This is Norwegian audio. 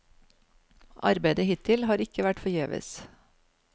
Arbeidet hittil har ikke vært forgjeves.